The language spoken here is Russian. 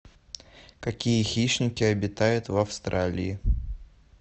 какие хищники обитают в австралии